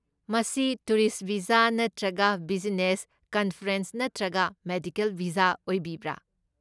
ꯃꯁꯤ tourist visa ꯅꯠꯇ꯭ꯔꯒ business, conference ꯅꯠꯇ꯭ꯔꯒ ꯃꯦꯗꯤꯀꯦꯜ ꯚꯤꯖꯥ ꯑꯣꯏꯕꯤꯕ꯭ꯔꯥ?